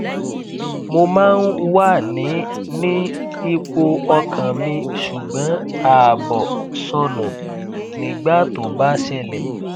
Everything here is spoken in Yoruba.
mo máa ń wà ní ní ipò ọkàn mi ṣùgbọn ààbọ sọnù nígbà tó bá ṣẹlẹ